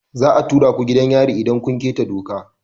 Za a tura ku gidan yari idan kun keta doka.